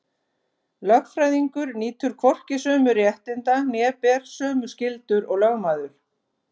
Lögfræðingur nýtur hvorki sömu réttinda né ber sömu skyldur og lögmaður.